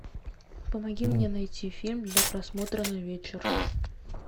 помоги мне найти фильм для просмотра на вечер